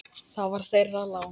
Það var þeirra lán.